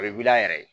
O ye wili a yɛrɛ ye